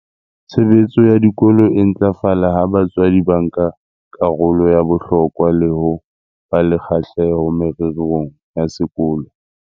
Tshebetso ya dikolo e ntlafala ha batswadi ba nka karolo ya bohlokwa le ho ba le kgahleho mererong ya sekolo.